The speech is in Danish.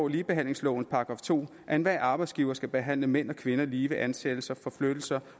ligebehandlingslovens § to at enhver arbejdsgiver skal behandle mænd og kvinder lige ved ansættelser forflyttelser